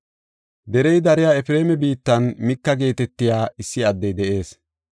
Derey dariya Efreema biittan Mika geetetiya issi addey de7ees.